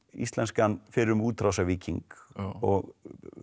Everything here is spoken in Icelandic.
íslenskan fyrrum útrásarvíking og